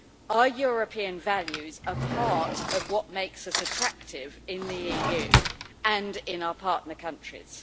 Our European values are part of what makes us attractive in the EU, and in our partner countries.